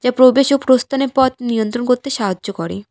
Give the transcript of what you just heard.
যা প্রবেশ ও প্রস্থানের পথ নিয়ন্ত্রণ করতে সাহায্য করে।